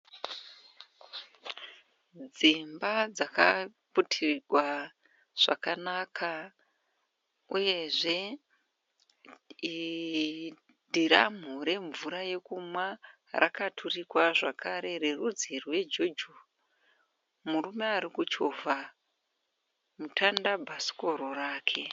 Dzimba dzakaputirwa zvakanaka uyezve dhiramhu remvura yekunwa rakaturikwa zvakare rerudzi rwejojo. Murume arikuchovha mutandabhasikoro wake.